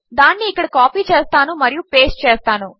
దానినిఇక్కడకాపీచేస్తానుమరియుపేస్ట్చేస్తాను